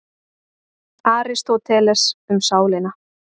Aristóteles, Um sálina.